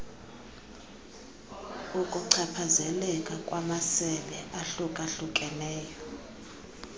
ukuchaphazeleka kwamasebe ahlukahlukeneyo